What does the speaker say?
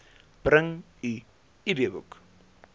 bring u idboek